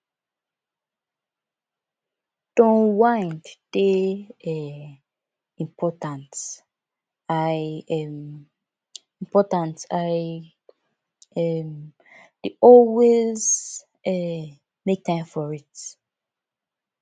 to unwind dey um important i um important i um dey always um make time for it